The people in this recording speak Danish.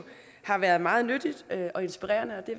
har været meget nyttigt og inspirerende og det